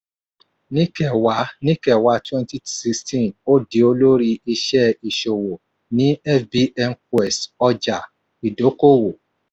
ní kẹwàá ní kẹwàá twenty sixteen ó di olórí iṣẹ́ ìṣòwò ní fbnquest ọjà-ìdókòwò.